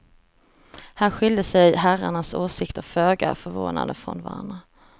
Här skilde sig herrarnas åsikter föga förvånande från varandra.